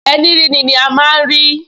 Ẹní ríni ni a máa rí!